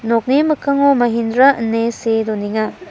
nokni mikkango mahindra ine see donenga.